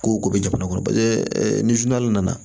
Ko ko bɛ jamana kɔnɔ paseke ni nana